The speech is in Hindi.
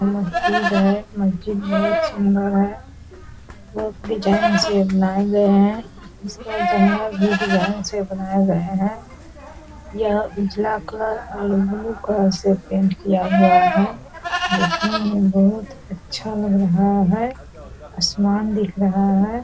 मस्जिद है मस्जिद बहुत सुंदर है बहुत डिज़ाइन से बनाये गये हैं इस पर जंगला भी डिज़ाइन से बनाया हुआ है यह उजला कलर और ब्लू कलर से पेंट किया हुआ है देखने में बहुत अच्छा लग रहा है आसमान दिख रहा है।